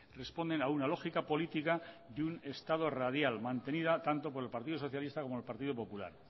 responden a una lógica política de un estado radial mantenida tanto por el partido socialista como el partido popular